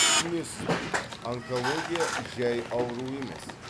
түсінесіз бе онкология жәй ауру емес